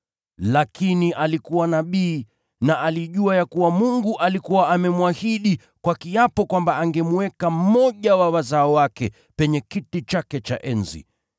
Lakini alikuwa nabii na alijua ya kuwa Mungu alikuwa amemwahidi kwa kiapo kwamba angemweka mmoja wa wazao wake penye kiti chake cha enzi.